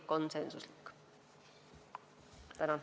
Tänan!